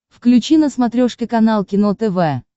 включи на смотрешке канал кино тв